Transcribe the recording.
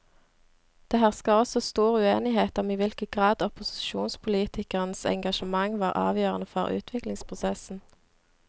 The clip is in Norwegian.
Det hersker også stor uenighet om i hvilken grad opposisjonspolitikernes engasjement var avgjørende for utviklingsprosessen.